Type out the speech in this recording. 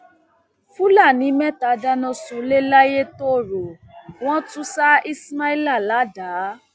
fúlàní mẹta dáná sunlé layétọrọ wọn tún ṣá ismaila ládàá